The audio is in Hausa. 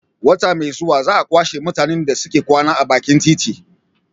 Wata mai zuwa za a kwashe mutanen da suke kwana a bakin titi